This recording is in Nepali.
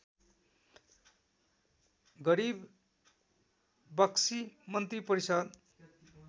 गरिबक्सी मन्त्रिपरिषद्